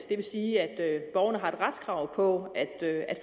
det vil sige at borgerne har et retskrav på at